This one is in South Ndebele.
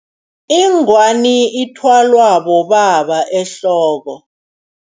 Ingwani ithwalwa bobaba ehloko.